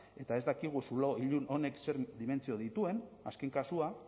eta ez dakigu zulo ilun honek ze dimentsio dituen azken kasua